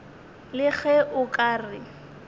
le ge o ka re